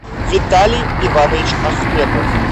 виталий иванович ахметов